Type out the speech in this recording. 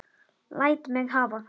Læt mig hafa það!